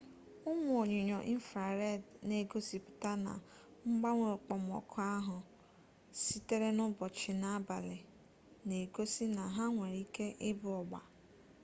ụmụ onyinyo infrareed na-egosipụta na mgbanwe okpomọkụ ahụ sitere n'ụbọchị na abalị na-egosi na ha nwere ike ịbụ ọgba